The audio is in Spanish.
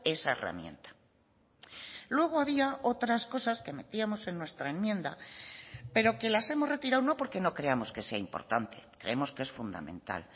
esa herramienta luego había otras cosas que metíamos en nuestra enmienda pero que las hemos retirado no porque no creamos que sea importante creemos que es fundamental